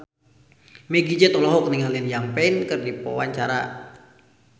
Meggie Z olohok ningali Liam Payne keur diwawancara